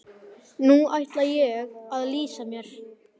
Nú ætla ég að lýsa mér.